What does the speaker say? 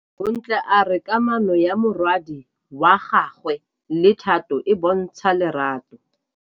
Bontle a re kamanô ya morwadi wa gagwe le Thato e bontsha lerato.